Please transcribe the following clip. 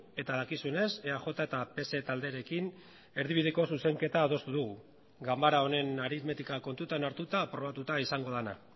eta dakizuenez eaj eta pse talderekin erdibideko zuzenketa adostu dugu ganbara honen aritmetika kontutan hartuta aprobatuta izango dena